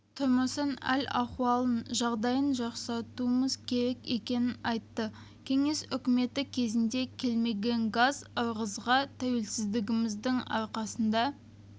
тұрмысын әл-ахуалын жағдайын жақсартуымыз керек екенін айтты кеңес үкіметі кезінде келмеген газ ырғызға тәуелсіздігіміздің арқасында